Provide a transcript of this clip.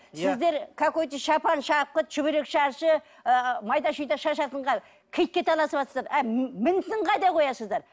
сіздер какой то шапан шапкі шүберек шаршы ы майда шүйде шашатынға киітке таласыватырсыздар ал мінісін қайда қоясыздар